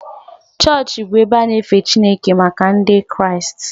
Chọọchị bụ ebe a na-efe Chineke maka Ndị Kraịst